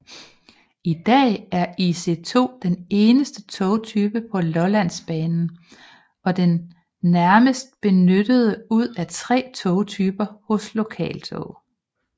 I dag er IC2 eneste togtype på Lollandsbanen og den næstmest benyttede ud af tre togtyper hos Lokaltog